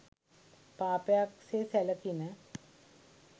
පාපයක් සේ සැලකිණ.